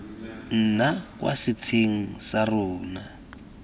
nna kwa setsheng sa rona